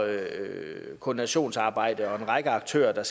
koordinationsarbejde og der er en række aktører der